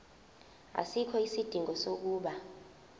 asikho isidingo sokuba